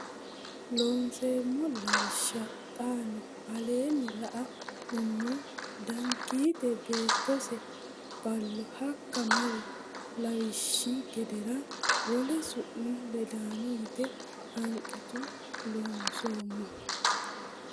Loonseemmo Lawishsha xaano aleenni la numo Danigiite beettose Ballo hakka mari lawishshi gedeere wole su mi ledaano yite hanqitu Loonseemmo.